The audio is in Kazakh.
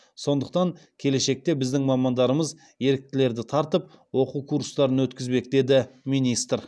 сондықтан келешекте біздің мамандарымыз еріктілерді тартып оқу курстарын өткізбек деді министр